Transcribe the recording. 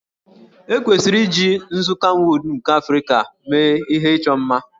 E kwesịrị iji nzu kamwụd nke Africa mee ihe ịchọ mma